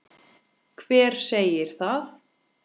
Hver segir það?